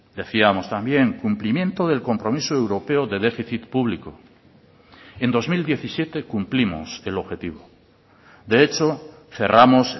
decíamos también cumplimiento del compromiso europeo de déficit público en dos mil diecisiete cumplimos el objetivo de hecho cerramos